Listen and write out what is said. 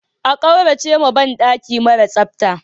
A kauracewa ban daki mara tsafta.